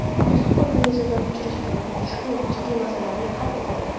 Maxsus organlarimiz uchrashadi va ushbu jiddiy masalalarni hal etadi”.